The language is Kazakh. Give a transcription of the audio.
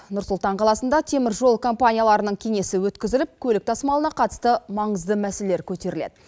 нұр сұлтан қаласында темір жол компанияларының кеңесі өткізіліп көлік тасымалына қатысты маңызды мәселелер көтеріледі